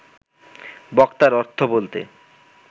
বক্তার অর্থ বলতে